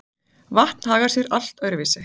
vatn hagar sé allt öðru vísi